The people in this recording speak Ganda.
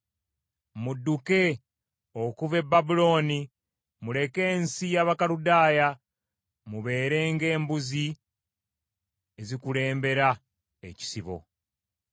“Mudduke okuva e Babulooni; muleke ensi y’Abakaludaaya, mubeere ng’embuzi ezikulembera ekisibo.